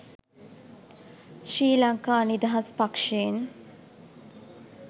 ශ්‍රී ලංකා නිදහස් පක්ෂයෙන්.